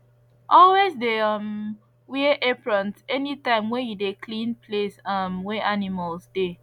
always de um wear aprons anytime wey you de clean place um wey animals de